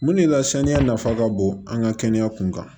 Mun de la saniya nafa ka bon an ka kɛnɛya kun kan